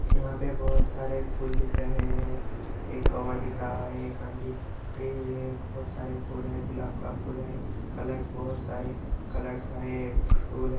यहाँ पर बहुत सारे फूल दिख रहे है। एक कवर दिख रहा एक आँटी खड़ी हुई हैं बहुत सारे फूल हैं गुलाब का फूल हैं कलर्स बहुत सारे कलर्स हैं स्टूल है।